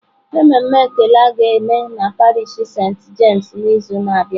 Mmemme ekele a ga-eme na parish senti James n'izu na-abịa.